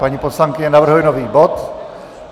Paní poslankyně navrhuje nový bod.